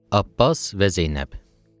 Abbas və Zeynəb.